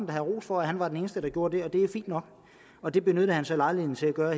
da have ros for at han var den eneste der gjorde det og det er fint nok og det benyttede han så lejligheden til at gøre